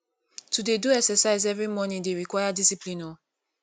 to dey do morning exercise every morning dey require discipline o